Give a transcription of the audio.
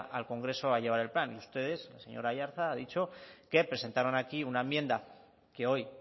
al congreso a llevar el plan ustedes señor aiartza ha dicho que presentaron aquí una enmienda que hoy